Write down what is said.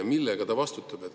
Ja millega ta vastutab?